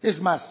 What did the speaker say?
es más